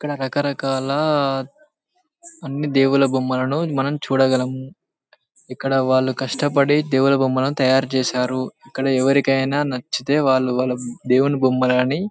ఇక్కడ రాకరకాల అన్ని దేవుల బొమ్మలను మనం చూడగలం. ఇక్కడ వాలు కష్టపడి దేవుల బొమ్మలని తాయారు చేసారు. ఇక్కడ ఎవరికీ అయినా నచ్చితే వాళ్ళు వల్ల దేవుల బొమ్మలని --